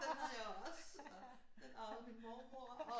Den havde jeg også og den arvede min mormor og